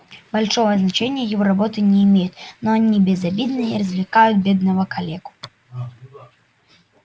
большого значения его работы не имеют но они безобидны и развлекают бедного калеку